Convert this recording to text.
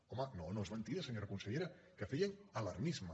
home no és mentida senyora consellera que feien alarmisme